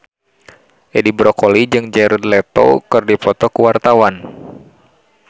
Edi Brokoli jeung Jared Leto keur dipoto ku wartawan